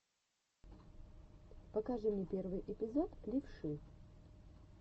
покажи мне первый эпизод левши